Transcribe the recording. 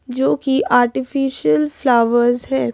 जो कि artificial flowers हैं।